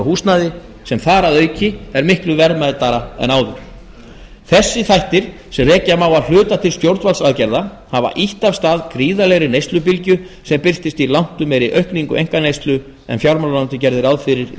húsnæði sem þar að auki er miklu verðmætara en áður þessi þættir sem rekja má að hluta til stjórnvaldsaðgerða hafa ýtt af stað gríðarlegri neyslubylgju sem birtist í langtum meiri aukningu einkaneyslu en fjármálaráðuneytið gerði ráð fyrir í